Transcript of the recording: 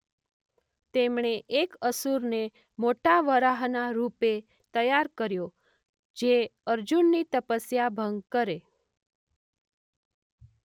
તેમણે એક અસુરને મોટા વરાહના રૂપે તૈયાર કર્યો જે અર્જુનની તપસ્યા ભંગ કરે.